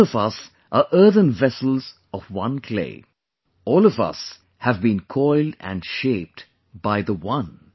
All of us are earthen vessels of one clay; all of us have been coiled and shaped by the One